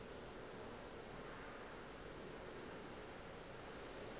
ga go na motho yo